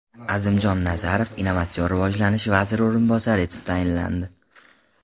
Azimjon Nazarov Innovatsion rivojlanish vaziri o‘rinbosari etib tayinlandi.